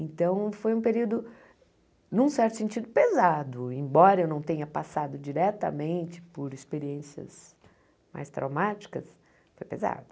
Então foi um período, num certo sentido, pesado, embora eu não tenha passado diretamente por experiências mais traumáticas, foi pesado.